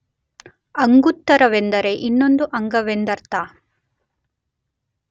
ಅಂಗುತ್ತರವೆಂದರೆ ಇನ್ನೊಂದು ಅಂಗವೆಂದರ್ಥ.